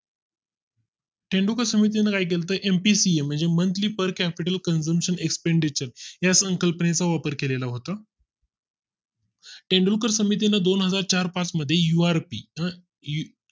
तेंडूलकर समितीने काय केले तर MPC म्हणजे Monthly Per Capital Expenditure या संकल्पने चा वापर केला होता. तेंडुलकर समितीने दोनहजार चार पाच मध्ये URP